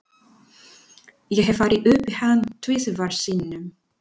Ég hef farið upp í hann tvisvar sinnum.